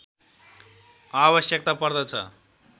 आवश्यकता पर्दछ